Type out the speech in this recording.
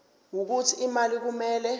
wokuthi imali kumele